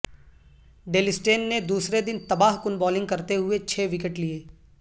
deal Steyn نے دوسرے دن تباہ کن بولنگ کرتے ہوئے چھ وکٹ لیے